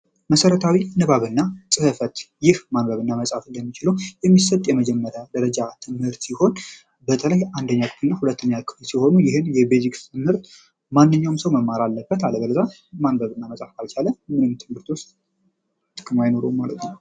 መሰረታዊ ንባብ እና ጽህፈት ይህ ማንበብ እና መጻፍ እንዲችሉ የሚሰጥ የመጀመሪያ ትምህርበተለይ አንደኛ ክፍል ሁለተኛ ክፍል ት ሲሆን ሲሆኑ ይህም የፊዚክስ ትምህርት ማንኛዉም ሰዉ መማር አለበት አለበለዚያ ማንበብ እና መጻፍ ካልቻለ ምንም ትምህርት ዉስጥ ጥቅም አይኖረዉም ማለት ነዉ።